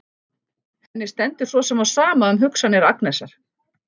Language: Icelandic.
Henni stendur svo sem á sama um hugsanir Agnesar.